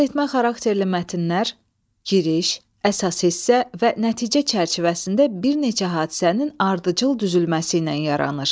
Nəqletmə xarakterli mətnlər, giriş, əsas hissə və nəticə çərçivəsində bir neçə hadisənin ardıcıl düzülməsi ilə yaranır.